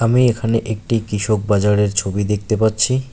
আমি এখানে একটি কৃষক বাজারের ছবি দেখতে পাচ্ছি।